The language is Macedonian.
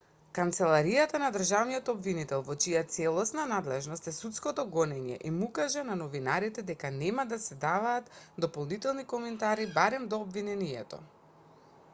канцеларијата на државниот обвинител во чија целосна надлежност е судското гонење им укажа на новинарите дека нема да се даваат дополнителни коментари барем до обвинението